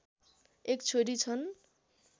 एक छोरी छन्